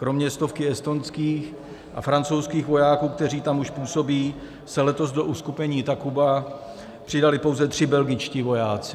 Kromě stovky estonských a francouzských vojáků, kteří tam už působí, se letos do uskupení Takuba přidali pouze tři belgičtí vojáci.